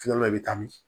Filanan i bɛ taa min